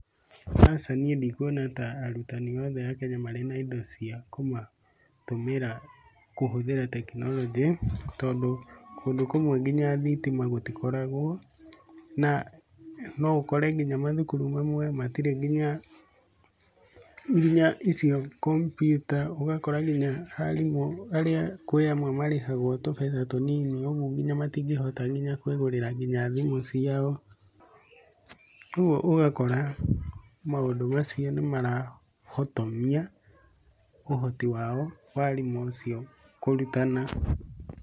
Aca niĩ ndikuona ta arutani othe a Kenya marĩ na indo cia kũmatũmĩra kũhũthĩra tekinoronjĩ tondũ kũndũ kũmwe nginya thitima gũtikoragwo na noũkore nginya mathukuru mamwe matirĩ nginya nginya icio kompiuta, ũgakora nginya arimũ arĩa kwĩ amwe marĩhagwo tũbeca tũnini ũguo nginya matingĩhota nginya kũĩgũrĩra nginya thimũ ciao, koguo ũgakora maũndũ macio nĩ marahotomia ũhoti wao wa arimũ acio kũrutana.